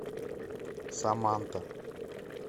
саманта